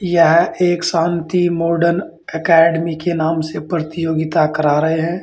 यह एक Shanti modern academy के नाम से प्रतियोगिता करा रहे हैं।